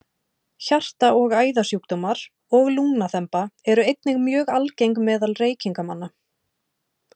Hjarta- og æðasjúkdómar og lungnaþemba eru einnig mjög algeng meðal reykingamanna.